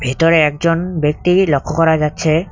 ভিতরে একজন ব্যক্তিকে লক্ষ্য করা যাচ্ছে।